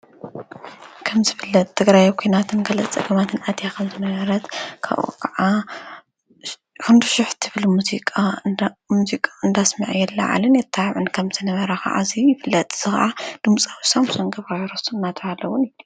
ከምዝፍለጥ ትግራይ አብ ኩናት እንከላ ህወሓትና አትያ ከምዝነበረት ካብኡ ከዓ ክንዲሽሕ ትብል ሙዚቃ እንዳስመዐን የለዓዕል የተባብዕን ከምዝነበረ ከዓ እዚ ይፍለጥ፡፡ እዚ ከዓ ድምፃዊ ሳምሶን ገብረኪሮስ እናተብሃለ እውን ይፅዋዕ፡፡